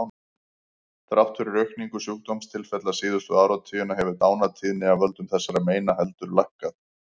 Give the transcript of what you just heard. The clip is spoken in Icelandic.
Þrátt fyrir aukningu sjúkdómstilfella síðustu áratugina hefur dánartíðni af völdum þessara meina heldur lækkað.